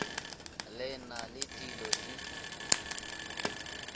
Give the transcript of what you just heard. le na le dilo di